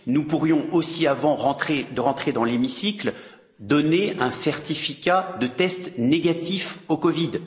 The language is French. Nous pourrions aussi, avant d'entrer dans l'hémicycle, donner un certificat de test négatif à la COVID.